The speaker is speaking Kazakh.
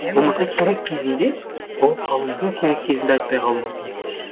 болмаса керек кезінде болып қалуы мүмкін керек кезінде айтпай қалуы мүмкін